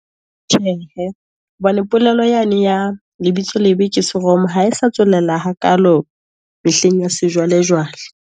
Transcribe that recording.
Tjhehe hobane polelo yane, ya lebitso lebe ke seromo, ha e sa tswelela hakalo mehleng ya sejwalejwale.